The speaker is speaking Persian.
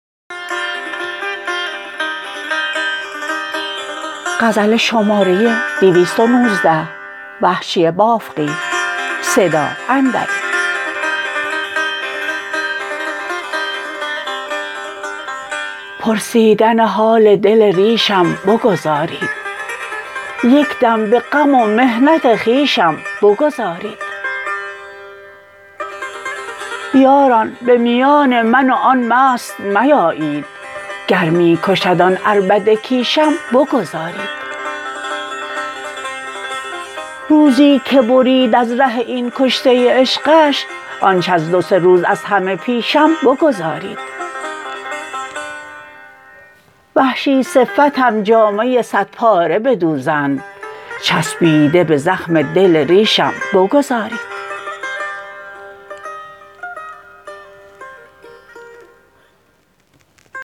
پرسیدن حال دل ریشم بگذارید یک دم به غم و محنت خویشم بگذارید یاران به میان من و آن مست میایید گر می کشد آن عربده کیشم بگذارید روزی که برید از ره این کشته عشقش آنچه از دو سه روز از همه پیشم بگذارید وحشی صفتم جامه سد پاره بدوزند چسبیده به زخم دل ریشم بگذارید